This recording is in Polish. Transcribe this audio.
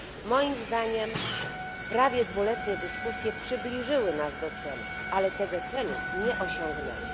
Moim zdaniem prawie dwuletnie dyskusje przybliżyły nas do celu, ale tego celu nie osiągnęły.